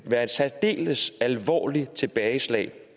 være et særdeles alvorligt tilbageslag